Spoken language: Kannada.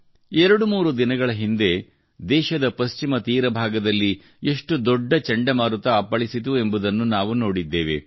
ಎರಡುಮೂರು ದಿನಗಳ ಹಿಂದೆ ದೇಶದ ಪಶ್ಚಿಮ ತೀರ ಭಾಗದಲ್ಲಿ ಎಷ್ಟು ದೊಡ್ಡ ಚಂಡಮಾರುತ ಅಪ್ಪಳಿಸಿತು ಎಂಬುದನ್ನು ನಾವು ನೋಡಿದ್ದೇವೆ